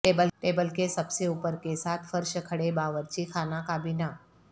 table کے سب سے اوپر کے ساتھ فرش کھڑے باورچی خانہ کابینہ